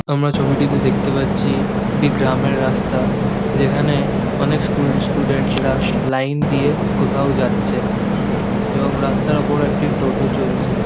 আমরা ছবিটিতে দেখতে পাচ্ছি একটি গ্রামের রাস্তা যেখানে অনেক স্কুল স্টুডেন্ট রা লাইন দিয়ে কোথাও যাচ্ছে এবং রাস্তার উপর একটি টোটো চলছে।